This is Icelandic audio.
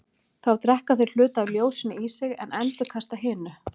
Þá drekka þeir hluta af ljósinu í sig en endurkasta hinu.